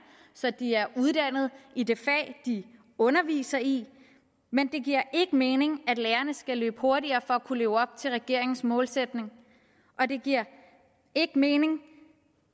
så de er uddannet i det fag de underviser i men det giver ikke mening at lærerne skal løbe hurtigere for at kunne leve op til regeringens målsætning og det giver ikke mening